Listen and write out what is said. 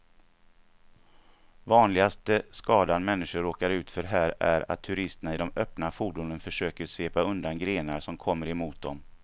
Vanligaste skadan människor råkar ut för här är att turisterna i de öppna fordonen försöker svepa undan grenar som kommer mot dem.